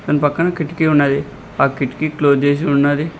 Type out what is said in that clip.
దాని పక్కన కిటికీ ఉన్నది ఆ కిటికీ క్లోజ్ చేసి ఉన్నది.